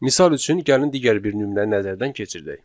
Misal üçün, gəlin digər bir nümunəni nəzərdən keçirdək.